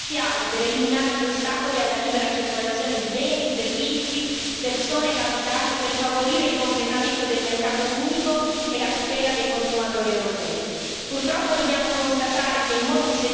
rappresentano da sempre uno strumento essenziale per eliminare gli ostacoli alla libera circolazione di beni, servizi, persone e capitali e per favorire il completamento del mercato unico e la tutela dei consumatori europei.